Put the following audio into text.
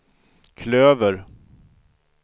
klöver